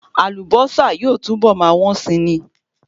Àlùbọ́sà yóò túbọ̀ máa wọ́n si ni